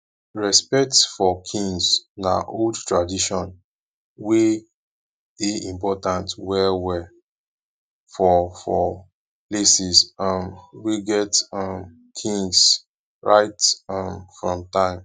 respect for kings na old tradition wey dey important well well for for places um wey get um kings right um from time